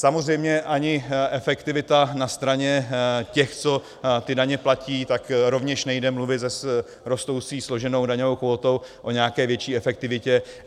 Samozřejmě ani efektivita na straně těch, co ty daně platí, tak rovněž nejde mluvit s rostoucí složenou daňovou kvótou o nějaké větší efektivitě.